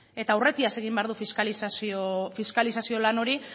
eta aurretiaz egin behar du fiskalizazio lan hori